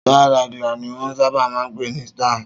Star Lager ni wọ́n sábà máa ń pè ní Star